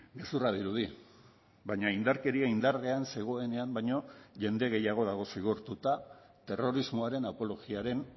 gezurra dirudi baina indarkeria indarrean zegoenean baino jende gehiago dago zigortuta terrorismoaren apologiaren